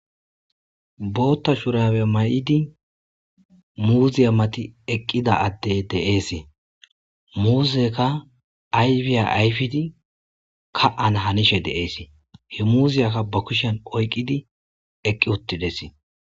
Botta shurabbe mayidi muzziya mattin eqqida addeyi de'esi muzzeyikka ayifiya ayiffidi ka'ana hannesi he muzziyaka ba kushshen oyqqidi eqqi uttis.